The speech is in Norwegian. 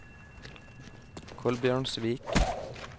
Kolbjørnsvik